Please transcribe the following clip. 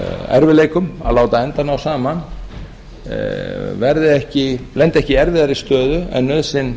erfiðleikum að láta enda ná saman lendi ekki í erfiðri stöðu en nauðsyn